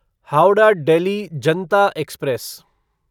Howrah Delhi Janata express